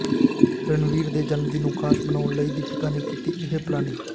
ਰਣਵੀਰ ਦੇ ਜਨਮਦਿਨ ਨੂੰ ਖਾਸ ਬਨਾਉਣ ਲਈ ਦੀਪਿਕਾ ਨੇ ਕੀਤੀ ਇਹ ਪਲਾਨਿੰਗ